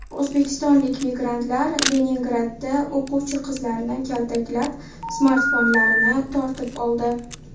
O‘zbekistonlik migrantlar Leningradda o‘quvchi qizlarni kaltaklab, smartfonlarini tortib oldi.